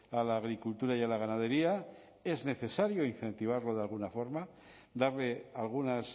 a la agricultura y a la ganadería es necesario incentivarlo de alguna forma darle algunas